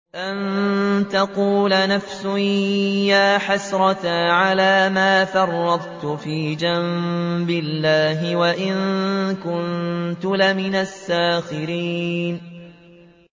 أَن تَقُولَ نَفْسٌ يَا حَسْرَتَا عَلَىٰ مَا فَرَّطتُ فِي جَنبِ اللَّهِ وَإِن كُنتُ لَمِنَ السَّاخِرِينَ